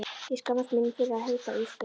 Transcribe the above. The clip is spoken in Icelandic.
Ég skammast mín fyrir að heita Ísbjörg.